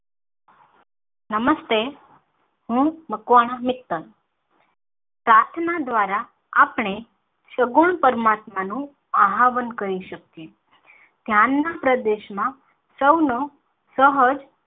નમસ્તે હું મકવાણા હેતલ પ્રાર્થના દ્રારા આપણે સગુણ પરમાત્મા નું આહવાન કરી શકીયે. ધ્યાન ના પ્રદેશ માં સૌનો સહર.